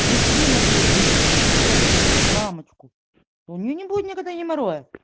мужчина будет иметь девушку мамочку у неё не будет никогда геморроя